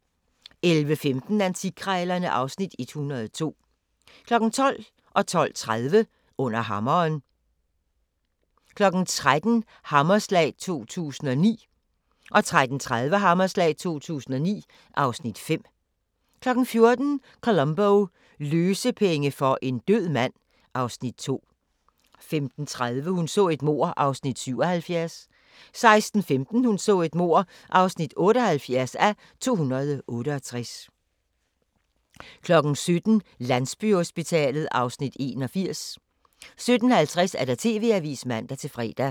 11:15: Antikkrejlerne (Afs. 102) 12:00: Under Hammeren 12:30: Under hammeren 13:00: Hammerslag 2009 13:30: Hammerslag 2009 (Afs. 5) 14:00: Columbo: Løsepenge for en død mand (Afs. 2) 15:30: Hun så et mord (77:268) 16:15: Hun så et mord (78:268) 17:00: Landsbyhospitalet (Afs. 81) 17:50: TV-avisen (man-fre)